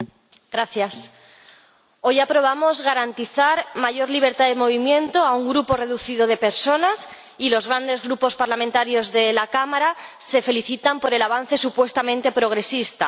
Señor Presidente, hoy aprobamos garantizar mayor libertad de movimiento a un grupo reducido de personas y los grandes Grupos parlamentarios de la Cámara se felicitan por el avance supuestamente progresista.